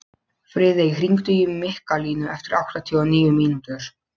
Friðey, hringdu í Mikkalínu eftir áttatíu og níu mínútur.